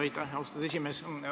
Aitäh, austatud esimees!